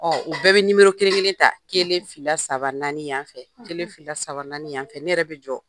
u bɛɛ be kelen-kelen ta. Kelen, fila, saaba, naani yan fɛ. Kelen, fila, saaba, naani yan fɛ. Ne yɛrɛ be jɔ.